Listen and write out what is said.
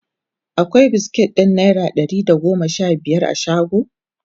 akwai biskit ɗin naira Dari da goma Sha biyar a shago?